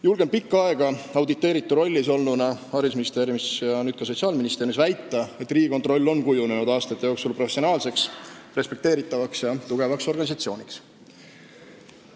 Julgen pikka aega auditeeritu rollis olnuna – haridusministeeriumis ja nüüd ka Sotsiaalministeeriumis – väita, et Riigikontroll on kujunenud aastate jooksul professionaalseks, respekteeritavaks ja tugevaks organisatsiooniks.